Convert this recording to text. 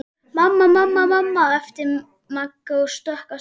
Mamma, mamma æpti Magga og stökk af stað.